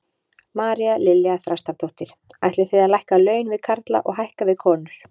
María Lilja Þrastardóttir: Ætlið þið að lækka laun við karla og hækka við konur?